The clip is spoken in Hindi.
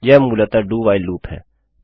यह मूलतः do व्हाइल लूप है